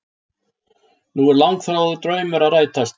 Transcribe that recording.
Nú er langþráður draumur að rætast